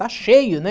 Está cheio, né?